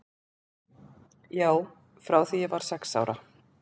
Já, frá því ég var sex ára.